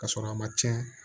Ka sɔrɔ a ma tiɲɛ